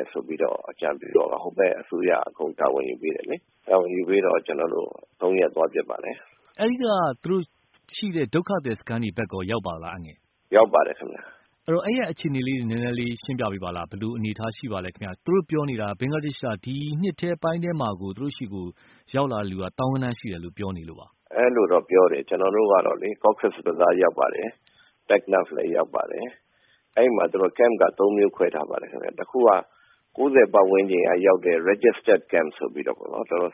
ယ် ဆိုပြီးအကြံပြုတော့ ဟိုဘက်အစိုးရက အကြံပြုပြီးတော့ တာဝန်ယူပေးတယ်လေ။ တာဝန်ယူပေးတော့ ကျနော်တို့ ၃ ရက်သွားဖြစ်ပါတယ်။ ကိုသားညွန့်ဦး။ ။အဲဒီက ရှိတဲ့ ဒုက္ခသည်စခန်းတွေဘက်ကို ရောက်ပါသလား။ ဦးအေးလွင်။ ။ရောက်ပါတယ်ခင်ဗျ။ ကိုသားညွန့်ဦး။ ။ဆိုတော့ အဲဒီဘက်က အခြေအနေလေးတွေ နည်းနည်းရှင်းပြပေးပါလား။ ဘယ်လိုအနေအထားရှိပါသလဲ သူတို့ပြောနေတာက ဘင်္ဂလားဒေ့ရ်ှက ဒီနှစ်ပိုင်းထဲမှာကို သူတို့ဆီကို ရောက်လာတဲ့လူက သောင်းဂဏန်းရှိတယ်လို့ပြောနေပါတယ်။ ဦးအေးလွင်။ ။အဲလိုတော့ ပြောတယ် ကျနော်တို့က Cox’s Bazar ရောက်ပါတယ်။ အဲဒီမှာ သူတို့ Camp တွေလည်းခွဲထားပါတယ်။ တခုက ၉၀ ပတ်ဝန်းကျင်ကရောက်တဲ့ Registered camp ဆိုပြီးတော့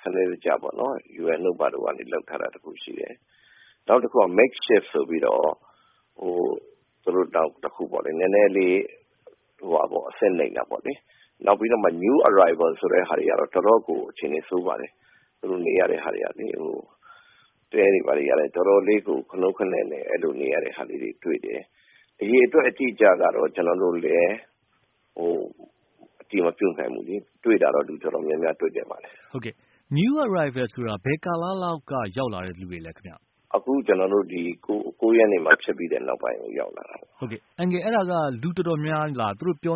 စနစ်တကျပေါ့နော် UN တို့ဘာတို့ဘက်ကနေ လုပ်ထားတာ တွေရှိတယ်။ နောက်တခုက Makeshift ဆိုပြီးတော့ နည်းနည်းလေး အဆင့်နိမ့်တာပေါ့လေ၊ နောက်ပြီးတော့ New arriver ဆိုတာကတော့ တော်တော့်ကို အခြေအနေဆိုးပါတယ်၊ တဲတွေဘာတွေကလည်း တော်တော်လေး ခနိုးခနဲ့နဲ့ အဲလိုလေး နေနေရတဲ့ ဟာလေးတွေ တွေ့တယ်။ အရေအတွက်အတိအကျကတော့ ကျနော်တို့လည်း အတည်မပြုနိုင်ဘူးလေ၊ တွေ့တာကတော့ လူတော်တော်များများတွေ့ခဲ့ပါတယ်။ ကိုသားညွန့်ဦး။ ။ New Arriver ဆိုတာဘယ်ကာလလောက်က ရောက်လာတဲ့ သူတွေလဲ။ ဦးအေးလွင်။ ။အခုကျနော်တို့ ၉ ရက်နေ့ နောက်ပိုင်းရောက်လာတာပါ။ ကိုသားညွန့်ဦး။ ။ဟုတ်ကဲ့၊ အဲဒါလူတော်တော်များများလား သောင်းဂဏ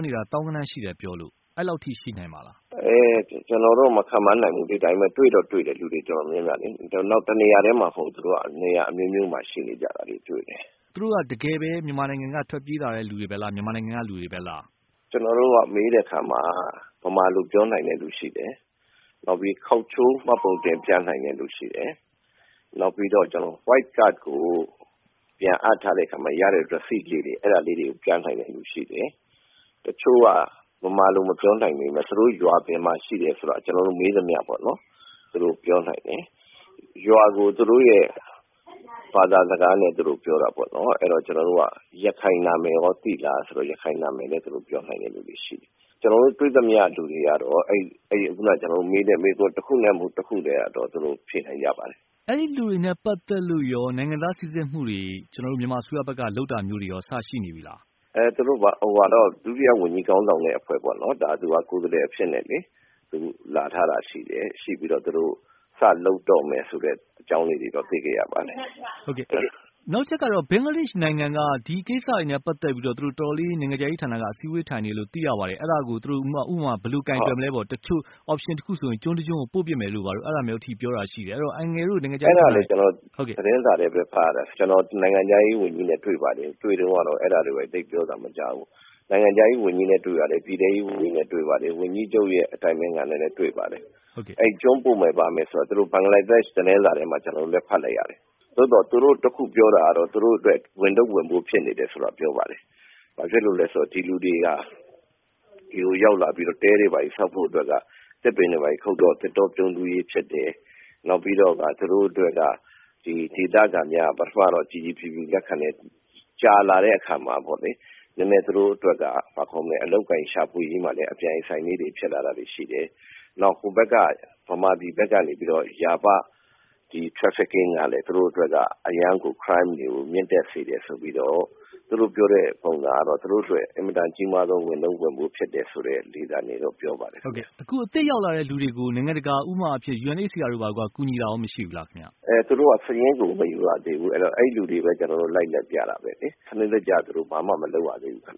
န်းရှိတယ်လို့ပြောလို့ အဲဒီလောက် အထိရှိနိုင်ပါသလား။ ဦးအေးလွင်။ ။အဲဒါကတော့ ကျနော်တို့ မခန့်မှန်းနိုင်ဘူး တွေ့တော့တွေ့တယ် လူတော်တော်များများလေ။ နောက်တနေရာတည်းမှာမဟုတ်ဘူး နေရာတော်တော်များများမှာ ရှိနေကြတာ ကိုသားညွန့်ဦး။ ။သူတို့က တကယ်ပဲ မြန်မာနိုင်ငံထဲက ထွက်ပြေးလာသူတွေပဲလား၊ မြန်မာနိုင်ငံက လူတွေပဲလား။ ဦးအေးလွင်။ ။ကျနော်တို့က မေးတဲ့အခါမှာ ဗမာလို့ပြောနိုင်တဲ့လူတွေရှိတယ်၊ နောက်ပြီး ခေါက်ချိုးမှတ်ပုံတင် ပြနိုင်တဲ့လူတွေရှိတယ်။ နောက်ပြီးတော့ White Card ကို ပြန်အပ်တဲ့အခါမှာ ရတဲ့ Receipt လေးတွေ၊ အဲဒါတွေကို ပြနိုင်တဲ့လူတွေရှိတယ်။ တချို့က မြန်မာလိုမပြောနိုင်ပေမယ့် သူတို့ရွာ ဘယ်မှာ ရှိတယ်ဆိုတာကို ကျနော်တို့ မေးသမျှ သူတို့ပြောနိုင်တယ်။ ရွာကိုသူတို့ရဲ့ ဘာသာစကားနဲ့ သူတို့ပြောတာပေါ့နော် အဲဒါကို ကျနော်တို့က ရခိုင်နာမည်ကော သိလားဆိုတော့ သူတို့ ရခိုင်နာမည်ကို ပြောနိုင်တဲ့လူတွေရှိတယ်။ ကျနော်တို့တွေ့သမျှလူတွေကတော့ ခုန ကျနော်တို့မေးတဲ့ မေးခွန်းတခုသို့မဟုတ် တခုနဲ့ကတော့ ဖြေနိုင်ကြပါတယ်။ ကိုသားညွန့်ဦး။ ။အဲဒီလူတွေနဲ့ ပတ်သက်လို့ နိုင်ငံသားစိစစ်မှုတွေ ကျနော်တို့ မြန်မာအစိုးရဘက်က လုပ်တာမျိုးတွေရော စရှိနေပြီလား။ ဦးအေးလွင်။ ။ သူတို့ ဒု-ဝန်ကြီးခေါင်းဆောင်တဲ့အဖွဲ့ပေါ့နော် ၊ ကိုယ်စားလှယ်အဖြစ်နဲ့ လာထားတာရှိတယ်၊ ရှိပြီးတော့ သူတို့ စလုပ်တော့မယ်ဆိုတဲ့သတင်း အကြောင်းလေးတွေတော့ သိခဲ့ရပါတယ်။ ကိုသားညွန့်ဦး။ ။နောက်တချက်ကတော့ ဘင်္ဂလားဒေ့ရ်ှနိုင်ငံက ဒီကိစ္စတွေနဲ့ ပတ်သက်ပြီးတော့ သူတို့ နိုင်ငံခြားရေးဌာနက တော်တော်လေး အစည်းအဝေးထိုင်နေတယ်လို့ သိရပါတယ်၊ အဲဒါကို သူတို့ ဘယ်လိုကိုင်တွယ်မလဲပေါ့ တချို့ Option တခုဆိုရင် ကျွန်းတကျွန်းကို ပို့မယ်လို့ အဲဒါမျိုးအထိပြောတာရှိတယ်၊ အဲဒီတော့ နိုင်ငံခြားရေးဌာနက ဘာတွေလုပ်ဆောင်နေပါသလဲ။ ဦးအေးလွင်။ ။အဲဒါ ကျနော်သတင်းစာထဲဖတ်ရတယ်၊ နိုင်ငံခြားရေးဝန်ကြီးနဲ့ တွေ့ပါတယ်။ တွေ့တုန်းကတော့ အဲဒါတွေကို သိပ်ပြောသံမကြားဘူး၊ နိုင်ငံခြားရေးဝန်ကြီးနဲ့ တွေ့တယ်၊ ပြည်ထဲရေးဝန်ကြီးနဲ့ တွေ့တယ်၊ ဝန်ကြီးချုပ်ရဲ့ အတိုင်ပင်ခံ နဲ့လည်း တွေ့တယ်။ အဲဒီကျွန်းပို့မယ်ဆိုတာ သူတို့ ဘင်္ဂလားဒေ့ရ်ှသတင်းစာမှာ ကျနော်တို့လည်းဖတ်လိုက်ရတယ်၊ သို့သော် သူတို့ တခုပြောတာကတော့ သူတို့အတွက် ဝန်ထုတ်ဝန်ပိုးဖြစ်နေတယ်ဆိုတာ ပြောပါတယ်။ ဒီလူတွေက ဒီကိုရောက်လာပြီးတော့ တဲ တွေဘာတွေဆောက်ဖို့အတွက် သစ်ပင်တွေခုတ်တော့ သစ်တော ပြန်းတီးရေးဖြစ်တယ်၊ နောက်ပြီးတော့ သူတို့အတွက် ဒေသခံများက အစက ကြည်ကြည်ဖြူဖြူလက်ခံတယ် ၊ ကြာလာတဲ့အခါမှာ သူတို့အတွက် အလုပ်အကိုင်ရှာဖွေရေးမှာလည်း အပြိုင်အဆိုင် ဖြစ်လာတာတွေရှိတယ်။ နောက်မြန်မာပြည်ဘက်ကနေပြီးတော့ trafficking ကလည်း သူတို့အတွက် အရမ်းကို မြင့်တက်စေတယ်ဆိုပြီးတော့ သူတို့ပြောတဲ့ပုံစံကတော့ သူတို့အတွက် အင်မတန်မှ ကြီးမားသော ဝန်ထုတ်ဝန်ပိုး ဖြစ်တယ်ဆိုတဲ့ လေသံတွေတော့ ပြောပါတယ်။ ကိုသားညွန့်ဦး။ ။အခု အသစ်ရောက်လာတဲ့လူတွေကို နိုင်ငံတကာ အဖွဲ့အစည်း ဥပမာ UNHCR တို့ ကူညီတာကော မရှိဘူးလားခင်ဗျ။ ဦးအေးလွင်။ ။သူတို့က စာရင်းကို မယူရသေးဘူး ၊ ကျနော်တို့ကို လိုက်ပြတာပဲလေ၊ စနစ်တကျ သူတို့ ဘာမျ မလုပ်ရသေးဘူးခင်